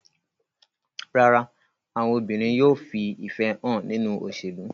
Rárá, àwọn obìnrin yóò fi ìfẹ́ hàn nínú òṣèlú.